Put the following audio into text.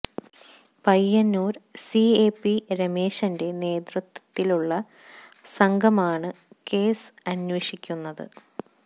Payyanur C I P രമേശന്റെ നേതൃത്വത്തിലുള്ള സംഘമാണ് കേസ് അന്വേഷിക്കുന്നത്